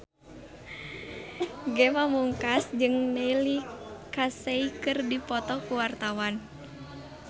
Ge Pamungkas jeung Neil Casey keur dipoto ku wartawan